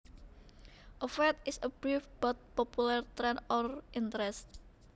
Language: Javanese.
A fad is a brief but popular trend or interest